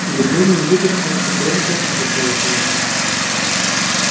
гермиона не выдержала и громко захлопнула книгу